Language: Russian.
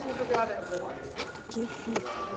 кефир